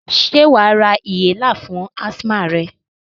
Sé wàá ra inhaler fún asthma rẹ?